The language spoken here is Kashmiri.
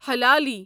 حلالی